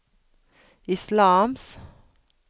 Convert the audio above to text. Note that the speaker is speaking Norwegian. islams